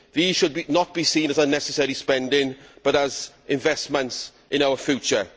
These items should not be seen as unnecessary spending, but as investments in our future.